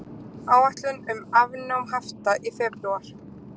Áætlun um afnám hafta í febrúar